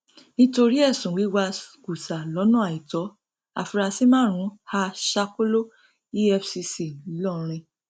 nítorí ẹsùn wíwá kùsà lọnà àìtó àfúráṣí márùnún há sákòló efcc ńlórin